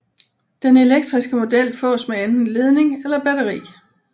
Den elektriske model fås med enten ledning eller batteri